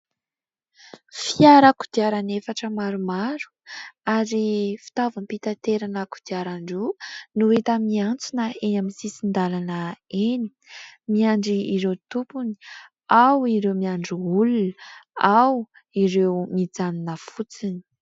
Fiara kodirana efatra maromaro, ary fitaovam-pitaterana an-kodiaran-droa no efa miantsona eny amin'ny sisin-dalana eny, miandry ireo tompony. Ao ireo miandry olona, ao ireo mijanona fotsiny.